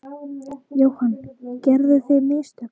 Jóhann: Gerðuð þið mistök?